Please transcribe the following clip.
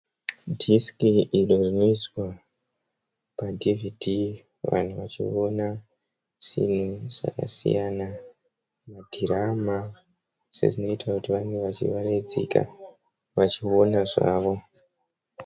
Disk iro rinoiswa paDVD vanhu vachiona zvinhu zvakasiyana madhirama sezvinoita kuti vange vachivaraidzika vachiona zvavo.